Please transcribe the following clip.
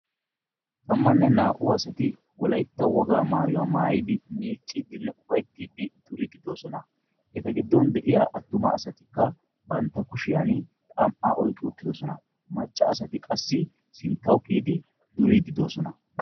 Tamanne naa"u asati wolaytta woga maayyuwa maayyidi miiccidinne uppayttidi duride doosona. Eta giddon de'iyaa attumasaykka bantta kushiyan xam"a oyqqi uttidoosona maccasatikka qassi sinttaw kiyyidi duridi doosona.